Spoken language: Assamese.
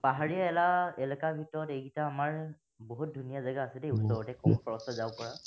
পাহাৰীয়া এৰা, এলেকাৰ ভিতৰত এইকেইটা আমাৰ বহুত ধুনীয়া জেগা আছে দেই ওচৰতে, কম খৰচত যাব পাৰা।